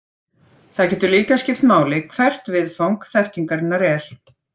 Það getur líka skipt máli hvert viðfang þekkingarinnar er.